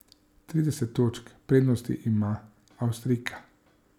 Trideset točk prednosti ima Avstrijka.